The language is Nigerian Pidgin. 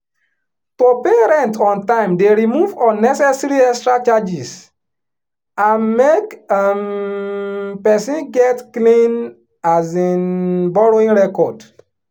to pay rent on time dey remove unnecessary extra charges and make um person get clean um borrowing record